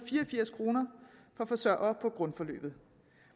og forsørgere på grundforløbet